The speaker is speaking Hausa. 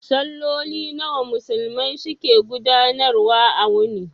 Salloli nawa Musulmai su ke gudanar wa a wuni?